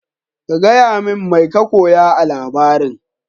ka gayamin mai ka koya a labarin.